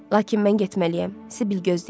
Lakin mən getməliyəm, Sibil gözləyəcək.